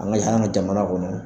An ka yan an ka jamana kɔnɔ